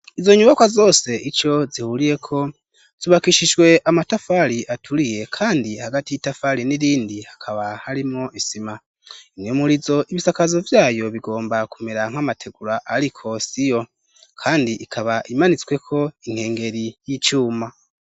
izo nyubakwa zose ico zihuriyeko zubakishijwe amatafari aturiye kandi hagati y'itafari n'irindi hakaba harimwo isima imwemurizo ibisakazo vyayo bigomba kumera nk'amategura ariko si yo kandi ikaba imanitswe ko inkengeri y'icuma